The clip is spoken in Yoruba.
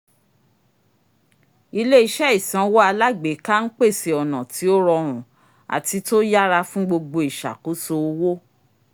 ilé-iṣẹ́ ìsanwo alágbèéká n pèsè ọ̀nà tí ó rọrùn àti tó yára fún gbogbo ìṣàkóso owó